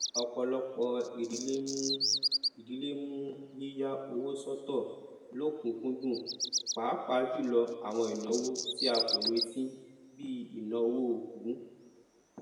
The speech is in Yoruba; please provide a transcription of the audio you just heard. ọpọlọpọ ìdílé mú ìdílé mú yíya owó sọtọ lọkùnkúndùn pápájùlọ àwọn ìnáwó tí a kò retí bi ìnáwó òkú